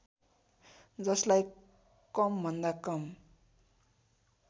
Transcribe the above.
जसलाई कमभन्दा कम